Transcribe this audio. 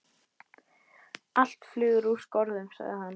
Allt flug er úr skorðum, sagði hann.